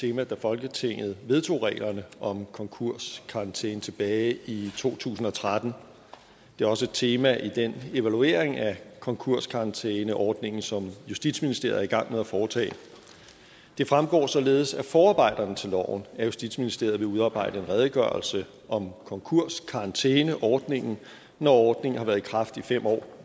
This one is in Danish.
tema da folketinget vedtog reglerne om konkurskarantæne tilbage i to tusind og tretten det er også et tema i den evaluering af konkurskarantæneordningen som justitsministeriet er i gang med at foretage det fremgår således af forarbejderne til loven at justitsministeriet vil udarbejde en redegørelse om konkurskarantæneordningen når ordningen har været i kraft i fem år